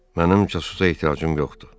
Mənim cəsusə ehtiyacım yoxdur.